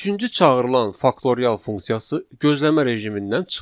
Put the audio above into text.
Üçüncü çağırılan faktorial funksiyası gözləmə rejimindən çıxır.